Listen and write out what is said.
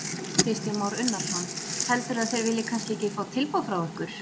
Kristján Már Unnarsson: Heldurðu að þeir vilji kannski ekki fá tilboð frá ykkur?